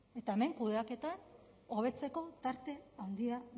eta hemen kudeaketan hobetzeko tarte handia